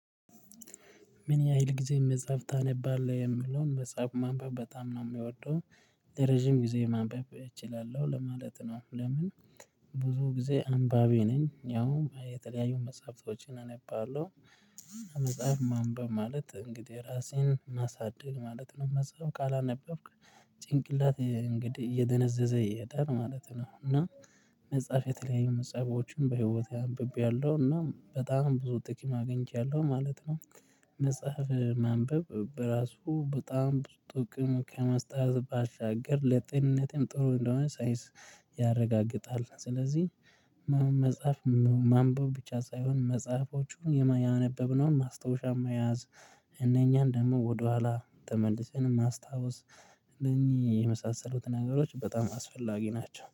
ምን? ያህል ጊዜ መጽሐፍ ታነባለህ የምለውን መጽሐፍ ማንበብ በጣም ነው የምወደው ለረጅም ጊዜ ማንበብ እችላለሁ ለማለት ነው። ለምን? ብዙ ጊዜ አንባቢ ነኝ ያው የተለያዩ መጽሐፍቶችን አነባለሁ። መጽሐፍ ማንበብ ማለት እንግዲህ ራሴን ማሳደግ ማለት ነው። መጽሐፍ ካላነበብክ ጭንቅላት እንግዲህ እየደነዘዘ ይሄዳል ማለት ነው። እና መጽሐፍ የተለያዩ መጽሐፎችን በህይወቴ አንብቤያለሁ እና በጣም ብዙ ጥቅም አግኝቻለሁ ማለት ነው። መጽሐፍ ማንበብ በራሱ በጣም ብዙ ጥቅም ከመስጠቱ ባሻገር ለጤንነቴም ጥሩ እንደሆነ ሳይንስ ያረጋግጣል። ስለዚህ መጽሐፍ ማንበብ ብቻ ሳይሆን መጽሐፎቹን ያነበብነውን ማስታወሻ መያዝ እነኛን ደግሞ ወደኋላ ተመልሰን ማስታወስ እነኚህ የመሳሰሉት ነገሮች በጣም አስፈላጊ ናቸው